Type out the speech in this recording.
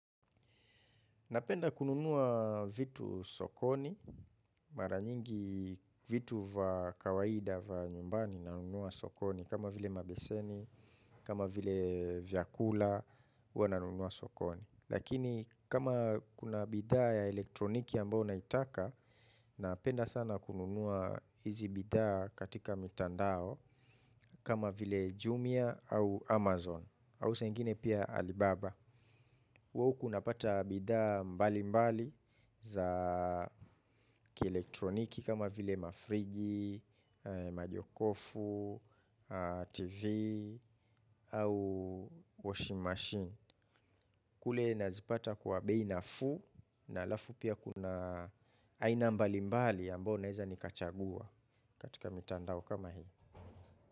Napenda kununua vitu sokoni, mara nyingi vitu va kawaida va nyumbani nanunua sokoni, kama vile mabeseni, kama vile vyakula, huwa nanunua sokoni. Lakini kama kuna bidhaa ya elektroniki ambayo naitaka, napenda sana kununua hizi bidhaa katika mitandao, kama vile Jumia au Amazon, au saa ingine pia Alibaba. Huwa uku unapata bidhaa mbalimbali za kielektroniki kama vile mafriji majokofu tv au washing machine. Kule nazipata kwa bei nafuu na alafu pia kuna aina mbalimbali ambao naeza nikachagua katika mitandao kama hii.